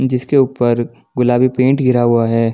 जिसके ऊपर गुलाबी पेंट गिरा हुआ है।